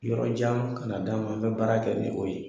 Yɔrɔ jan kan'a d'an ma, an bɛ baara kɛ ni o ye.